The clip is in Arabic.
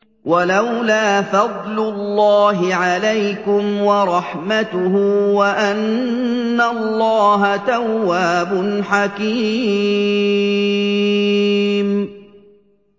وَلَوْلَا فَضْلُ اللَّهِ عَلَيْكُمْ وَرَحْمَتُهُ وَأَنَّ اللَّهَ تَوَّابٌ حَكِيمٌ